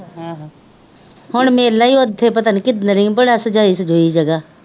ਆਹੋ ਹੁਣ ਮੇਲਾ ਹੀ ਉੱਥੇ ਪਤਾ ਨਹੀਂ ਭਲਾ ਸਜਾਈ ਸਜੂਈ ਜਗ੍ਹਾ